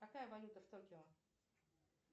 какая валюта в токио